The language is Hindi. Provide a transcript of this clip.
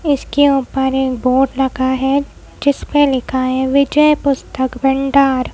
इसके ऊपर एक बोर्ड लगा है जिस पर लिखा है विजय पुस्तक भंडार ।